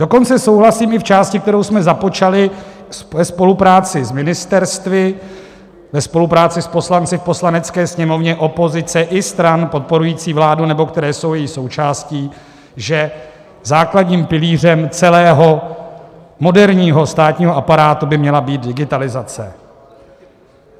Dokonce souhlasím i v části, kterou jsme započali ve spolupráci s ministerstvy, ve spolupráci s poslanci v Poslanecké sněmovně, opozice i stran podporující vládu, nebo které jsou její součástí, že základním pilířem celého moderního státního aparátu by měla být digitalizace.